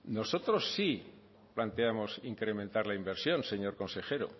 nosotros sí planteamos incrementar la inversión señor consejero